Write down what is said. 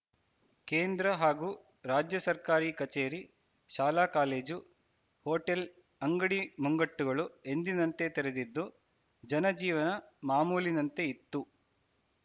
ಕೇಂದ್ರ ಹಾಗೂ ರಾಜ್ಯ ಸರ್ಕಾರಿ ಕಚೇರಿ ಶಾಲಾ ಕಾಲೇಜು ಹೊಟೇಲ್‌ ಅಂಗಡಿ ಮುಂಗಟ್ಟುಗಳು ಎಂದಿನಂತೆ ತೆರೆದಿದ್ದು ಜನ ಜೀವನ ಮೂಮೂಲಿನಂತೆ ಇತ್ತು